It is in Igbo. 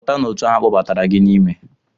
Pụta n'òtù ahụ a kpọbatara gị n'ime!